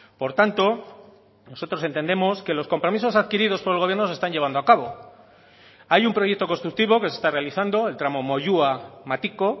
por tanto nosotros entendemos que los compromisos adquiridos por el gobierno se están llevando a cabo hay un proyecto constructivo que se está realizando el tramo moyua matiko